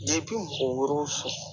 oro